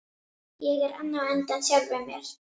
Ég er enn á undan sjálfum mér.